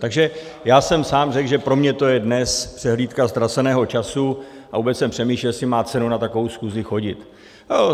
Takže já jsem sám řekl, že pro mě to je dnes přehlídka ztraceného času, a vůbec jsem přemýšlel, jestli má cenu na takovou schůzi chodit.